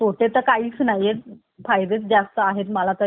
जास्त आहेत मला तरी असं वाटतं CCTV चे